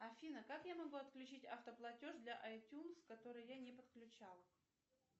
афина как я могу отключить автоплатеж для айтюнс который я не подключала